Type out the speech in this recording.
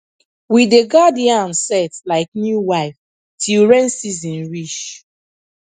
we dey guard yam sett like new wife till rain season reach